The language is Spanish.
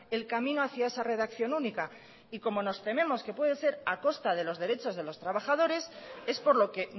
el camino hacia esa redacción única y como nos tememos que puede ser a costa de los derechos de los trabajadores es por lo que